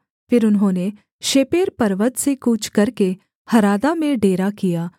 फिर उन्होंने शेपेर पर्वत से कूच करके हरादा में डेरा किया